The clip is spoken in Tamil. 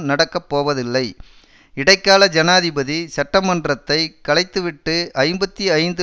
நடக்கப்போவதில்லை இடைக்கால ஜனாதிபதி சட்டமன்றத்தை கலைத்துவிட்டு ஐம்பத்தி ஐந்து